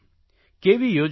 કેવી યોજના હોય